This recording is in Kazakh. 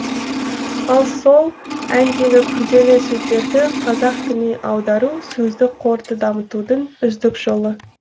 ал сол әндегі күрделі сөздерді қазақ тіліне аудару сөздік қорды дамытудың үздік жолы